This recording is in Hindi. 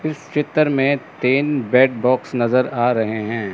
इस चित्र में तीन बेड बॉक्स नज़र आ रहे हैं।